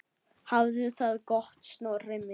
Hafðu það gott, Snorri minn.